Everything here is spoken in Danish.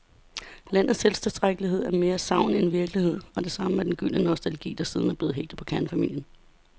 Landets selvtilstrækkelighed er mere sagn end virkelighed, og det samme er den gyldne nostalgi, der siden er blevet hægtet på kernefamilien.